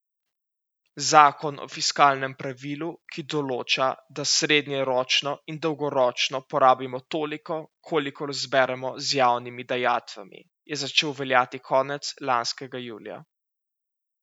Zakon o fiskalnem pravilu, ki določa, da srednjeročno in dolgoročno porabimo toliko, kolikor zberemo z javnimi dajatvami, je začel veljati konec lanskega julija.